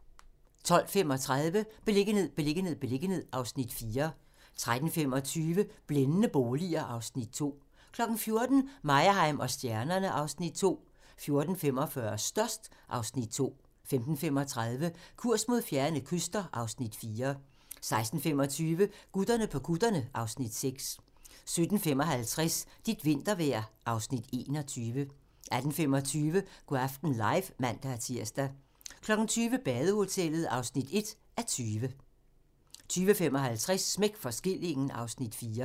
12:35: Beliggenhed, beliggenhed, beliggenhed (Afs. 4) 13:25: Blændende boliger (Afs. 2) 14:00: Meyerheim & stjernerne (Afs. 2) 14:45: Størst (Afs. 2) 15:35: Kurs mod fjerne kyster (Afs. 4) 16:25: Gutterne på kutterne (Afs. 6) 17:55: Dit vintervejr (Afs. 21) 18:25: Go' aften live (man-tir) 20:00: Badehotellet (1:20) 20:55: Smæk for skillingen (Afs. 4)